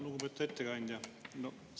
Lugupeetud ettekandja!